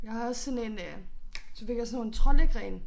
Jeg har også sådan en øh så fik jeg også sådan nogle troldegrene